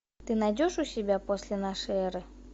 ты найдешь у себя после нашей эры